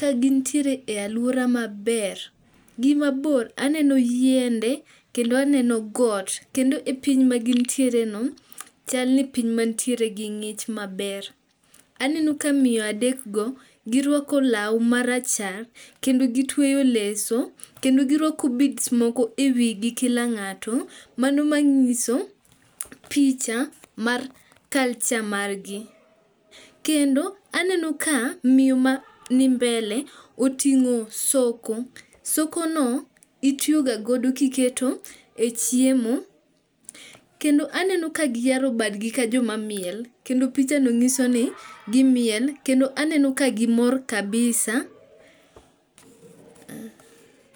kagintiere e alwora maber. Gimabor aneno yiende kendo aneno got, kendo e piny magin tiere no, chal ni piny mantiere gi ng'ich maber. Aneno ka miyo adek go, girwako law marachar kendo gitweyo leso kendo girwako bead moko e wigi kila ng'ato, mano mang'iso picha mar culture margi. kendo aneno ka miyo mani mbele oting'o soko, sokono, itiyoga godo kiketo e chiemo, kendo aneno ka giyaro badgi ka jomamiel. Kendo pichano nyiso ka gimiel kendo aneno ka gimor kabisa.